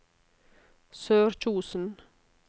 Sørkjosen